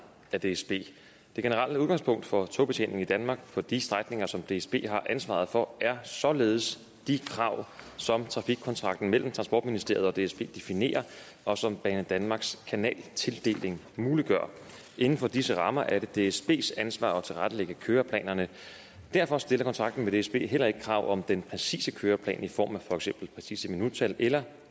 af dsb det generelle udgangspunkt for togbetjeningen i danmark på de strækninger som dsb har ansvaret for er således de krav som trafikkontrakten mellem transportministeriet og dsb definerer og som banedanmarks kanaltildeling muliggør inden for disse rammer er det dsbs ansvar at tilrettelægge køreplanerne derfor stiller kontrakten med dsb heller ikke krav om den præcise køreplan i form af for eksempel præcise minuttal eller